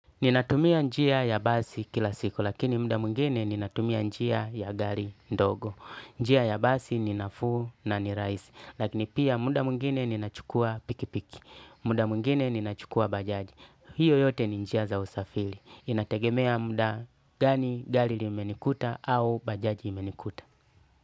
Ninatumia njia ya basi kila siku, lakini muda mwingine ninatumia njia ya gari ndogo. Njia ya basi ni nafuu na ni rahisi, lakini pia muda mwingine ninachukua pikipiki muda mwingine ninachukua bajaji. Hiyo yote ni njia za usafili. Inategemea muda gani gari limenikuta au bajaji imenikuta.